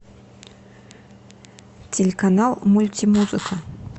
телеканал мульти музыка